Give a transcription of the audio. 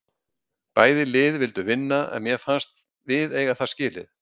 Bæði lið vildu vinna en mér fannst við eiga það skilið.